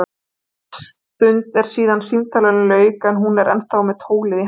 Svolítil stund er síðan símtalinu lauk en hún er ennþá með tólið í hendinni.